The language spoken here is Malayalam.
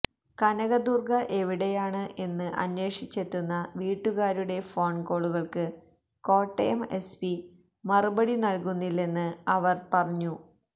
കനക ദുര്ഗ എവിടെയാണ് എന്ന് അന്വേഷിച്ചെത്തുന്ന വീട്ടുകാരുടെ ഫോണ് കോളുകള്ക്ക് കോട്ടയം എസ്പി മറുപടി നല്കുന്നില്ലെന്ന് അവര് പറഞ്ഞു